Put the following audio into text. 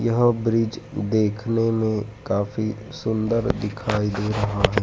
यह ब्रिज देखने में काफी सुंदर दिखाई दे रहा है।